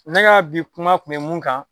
Ne ka bi kuma kun bɛ mun kan